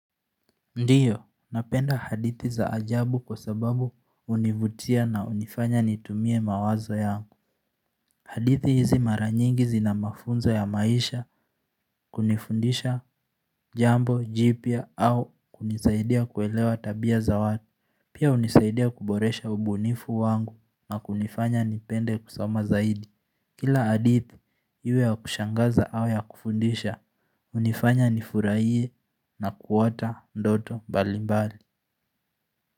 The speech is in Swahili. Ndiyo, napenda hadithi za ajabu kwa sababu hunivutia na hunifanya nitumie mawazo yangu hadithi hizi maranyingi zina mafunzo ya maisha kunifundisha jambo, jipya au kunisaidia kuelewa tabia za watu Pia hunisaidia kuboresha ubunifu wangu na kunifanya nipende kusoma zaidi Kila hadithi iwe ya kushangaza au ya kufundisha hunifanya nifurahie na kuota ndoto mbalimbali.